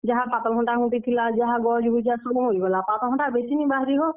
ଯାହା ପାତଲ୍ ଘଣ୍ଟା ଘୁଟି ଥିଲା, ଯାହା ଗଛ ଗୁଚା ସବୁ ମରିଗଲା। ପାତଲ୍ ଘଣ୍ଟା ବେଶୀ ନି ବାହାରି ହୋ।